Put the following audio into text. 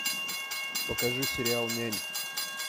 покажи сериал нянь